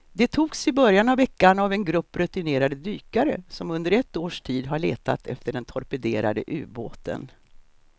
De togs i början av veckan av en grupp rutinerade dykare som under ett års tid har letat efter den torpederade ubåten.